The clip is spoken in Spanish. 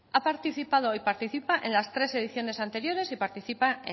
ha participado y participa en las tres ediciones anteriores y participa